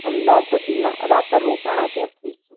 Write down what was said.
અમદાવાદ પછી રાતે રોકાંણયા ત્યાંથી